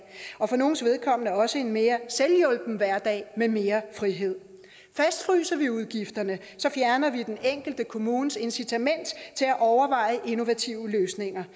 og for nogles vedkommende også en mere selvhjulpen hverdag med mere frihed fastfryser vi udgifterne fjerner vi den enkelte kommunes incitament til at overveje innovative løsninger